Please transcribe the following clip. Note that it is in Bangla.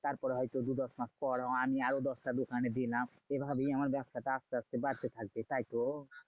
তারপরে হয়তো দু দশ মাস পর আমি আরো দশটা দোকানে দিলাম। এভাবেই আমার ব্যাবসাটা আসতে আসতে বাড়তে থাকবে, তাইতো?